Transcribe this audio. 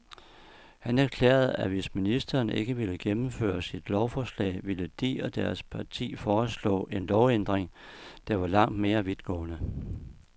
Han erklærede, at hvis ministeren ikke ville gennemføre sit lovforlag, ville de og deres parti foreslå en lovændring, der var langt mere vidtgående.